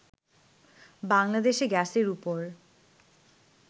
বাংলাদেশে গ্যাসের ওপর